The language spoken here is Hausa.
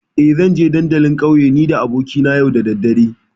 Eh, zanje dandalin ƙauye nida abokina yau da daddare.